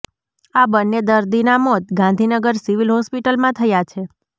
આ બન્ને દર્દીના મોત ગાંધીનગર સિવિલ હોસ્પિટલમાં થયા છે